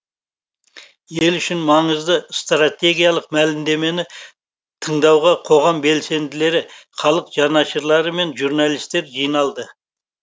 ел үшін маңызды стратегиялық мәлімдемені тыңдауға қоғам белсенділері халық жанашырлары мен журналистер жиналды